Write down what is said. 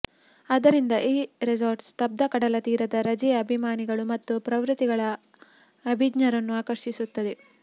ಆದ್ದರಿಂದ ಈ ರೆಸಾರ್ಟ್ ಸ್ತಬ್ಧ ಕಡಲತೀರದ ರಜೆಯ ಅಭಿಮಾನಿಗಳು ಮತ್ತು ಪ್ರವೃತ್ತಿಗಳ ಅಭಿಜ್ಞರನ್ನು ಆಕರ್ಷಿಸುತ್ತದೆ